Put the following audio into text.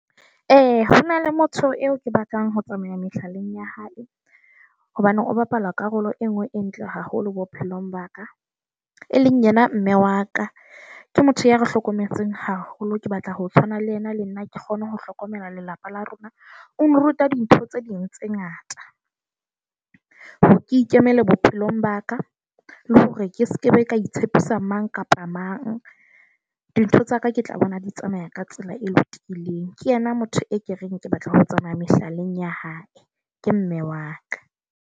E, ho na le motho eo ke batlang ho tsamaya mehlaleng ya hae hobane o bapala karolo e nngwe e ntle haholo bophelong ba ka. E leng yena mme wa ka. Ke motho ya re hlokometseng haholo. Ke batla ho tshwana le ena le nna ke kgone ho hlokomela lelapa la rona. O nruta dintho tse ding tse ngata. ho ke ikemele bophelong ba ka la hore ke sekebe ka itshepisa mang kapa mang. Dintho tsa ka, ke tla bona di tsamaya ka tsela e lokileng. Ke yena motho e ke reng ke batla ho tsamaya mehlaleng ya hae, ke mme wa ka.